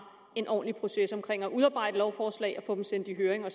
en ordentlig proces omkring det at udarbejde lovforslag og få dem sendt i høring